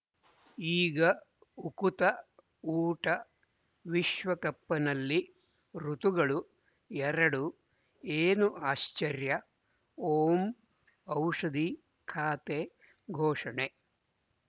ಈಗ ಉಕುತ ಊಟ ವಿಶ್ವಕಪ್‌ನಲ್ಲಿ ಋತುಗಳು ಎರಡು ಏನು ಆಶ್ಚರ್ಯ ಓಂ ಔಷಧಿ ಖಾತೆ ಘೋಷಣೆ